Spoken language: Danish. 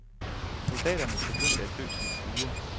Soldaterne begyndte at dø som fluer.